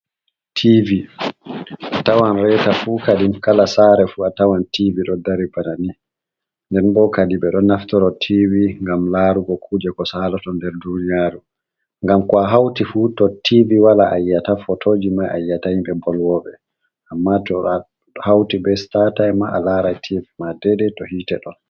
Tivi a tawan reita fu kadin kala sare fu a tawan tivi ɗon dari banani, nden bo kadin ɓeɗo naftoro tivi ngam larugo kuje ko salato nder duniyaru, ngam ko a hauti fu to tivi wala ayyiata photoji mai ayyiata himɓɓe bol woɓe, amma to hauti be stataim ma’a larai tivi ma de dei to hitte ɗon.